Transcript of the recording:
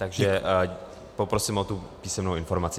Takže poprosím o tu písemnou informaci.